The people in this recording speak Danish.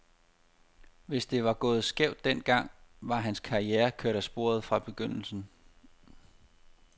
Hvis det var gået skævt den gang, var hans karriere kørt af sporet fra begyndelsen.